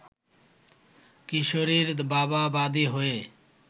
কিশোরীর বাবা বাদি হয়ে